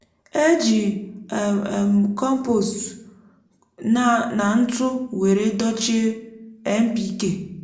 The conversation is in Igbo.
e jị um um m kompost um nà ntụ were dochie npk